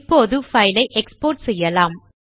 இப்போது பைல் ஐ எக்ஸ்போர்ட் செய்யலாம்